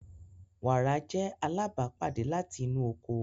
Wara jẹ alabapade lati inu oko.